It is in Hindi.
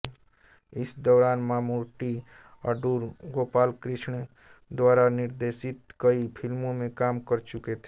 इस दौरान मामूट्टी अडूर गोपालकृष्णन द्वारा निर्देशित कई फिल्मों में काम कर चुके थे